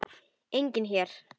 Enginn her.